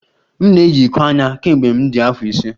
M na-eyi iko anya kemgbe m dị afọ ise